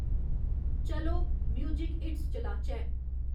चलो music hits चलाचै